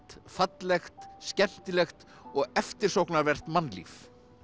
fallegt skemmtilegt og eftirsóknarvert mannlíf